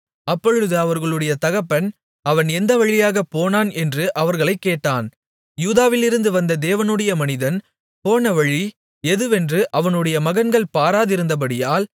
அப்பொழுது அவர்களுடைய தகப்பன் அவன் எந்த வழியாகப் போனான் என்று அவர்களைக் கேட்டான் யூதாவிலிருந்து வந்த தேவனுடைய மனிதன் போனவழி எதுவென்று அவனுடைய மகன்கள் பார்த்திருந்தபடியால்